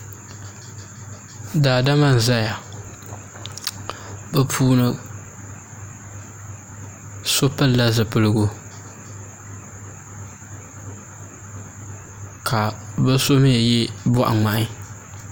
Daadama n ʒɛya bi puuni so pilila zipiligu ka bi so mii yɛ boɣa ŋmahi